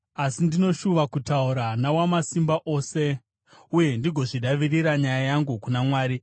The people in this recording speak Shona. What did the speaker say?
Asi ndinoshuva kutaura naWamasimba Ose uye ndigozvidavirira nyaya yangu kuna Mwari.